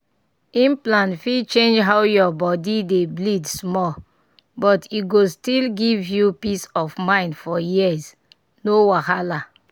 implant fit change how your body dey bleed small but e go still give you peace of mind for years. no wahala!